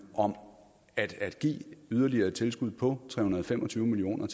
om at give yderligere tilskud på tre hundrede og fem og tyve million